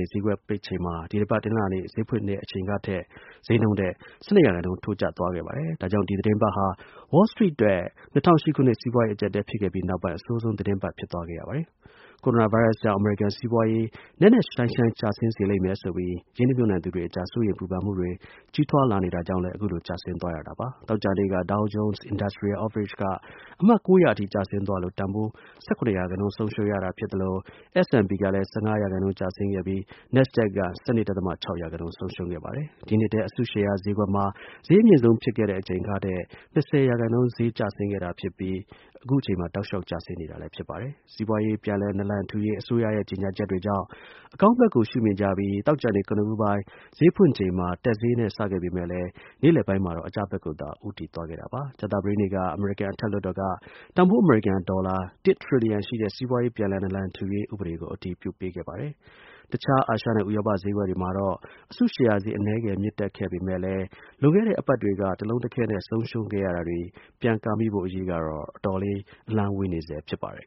ေ့ ဈေးကွက် ပိတ်ချိန်မှာ ဒီတစ်ပတ် တနင်္လာနေ့ ဈေးဖွင့်လှစ်တဲ့ အချိန်က ဈေးနှုန်းထက် ၁၂ ရာခိုင်နှုန်း ထိုးကျသွားပါတယ်။ ဒီ သီတင်းပတ်ဟာ Wall Street အတွက် ၂၀၀၈ ခုနှစ် စီးပွားရေး အကျပ် အတည်းဖြစ်ခဲ့ပြီးနောက်ပိုင်း အဆိုးဆုံး သီတင်းပတ်ဖြစ်သွားခဲ့ပါတယ်။ ကိုရိုနာ ဗိုင်းရပ်ကြောင့် အမေရိကန် စီးပွားရေး နက်နက်ရှိုင်းရှိုင်း ကျဆင်းသွားစေလိမ့်မယ်ဆိုပြီး ရင်းနှီးရင်မြှုပ်နှံသူတွေအကြား စိုးရိမ်ပူပန်မှုတွေ ကြီးထွားလာတာကြောင့်လည်း အခုလို ကျဆင်းသွားတာပါ။ သောကြာနေ့က Dow Jones Industrial Average က အမှတ် ၉၀၀ အထိ ကျဆင်းသွားလို့ တန်ဖိုး ၁၇ ရာခိုင်နှုန်း ဆုံးရှုံးရတာ ဖြစ်သလို S&P ကလည်း ၁၅ ရာခိုင်းကျဆင်းခဲ့ပြီး NASDAQ က ၁၂.၆ ရာခိုင်နှုန်း ဆုံးရှုံးခဲ့ပါတယ်။ ဒီ နှစ်ထဲ အစုရှယ်ယာဈေးကွက်မှာ ဈေး အမြင့်ဆုံးဖြစ်ခဲ့တဲ့အချိန်ကထက် ၂၀ ရာခိုင်နှုန်း ကျဆင်းခဲ့တာဖြစ်ပြီး အခုအချိန်မှာ တောက်လျှောက် ကျဆင်းနေတာလည်း ဖြစ်ပါတယ်။ စီးပွားရေး ပြန်လည် နာလံထူရေး အစိုးရရဲ့ ကြေညာချက်တွေကြောင့် အကောင်းဘက်ကို ရှုမြင်ကြပြီး သောကြာနေ့ ကနဦး ဈေးဖွင့်ချိန်မှာ တက်ဈေးနဲ့ စခဲ့ပေမဲ့လည်း နေ့လည်ပိုင်းမှာတော့ အကျဘက်ကိုသာ ဦးတည်သွားခဲ့တာပါ။ ကြာသပတေးနေ့က အမေရိကန် အထက်လွှတ်တော်က တန်ဖိုး အမေရိကန် ဒေါ်လာ ၁ ထရီလီယံ ရှိတဲ့ စီးပွားရေး ပြန်လည် နာလံထူရေး ဥပဒေတစ်ရပ်ကို အတည်ပြုခဲ့ပါတယ်။ တခြား အာရှနဲ့ ဥရောပ ဈေးကွက်တွေမှာ အစုရှယ်ယာဈေး အနည်းငယ် မြင့်တက်ခဲ့ပေမဲ့ လွန်ခဲ့တဲ့ အပတ်တွေက တလုံးတခဲနဲ့ ဆုံးရှုံးခဲ့ရတာတွေ ပြန်ကာမိဖို့အရေးကတော့ အတော် အလှမ်းဝေးနေဆဲဖြစ်ပါတယ်